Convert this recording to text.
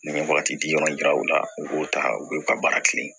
N ye wagati di yɔrɔ yira u la u b'o ta u b'u ka baara kɛ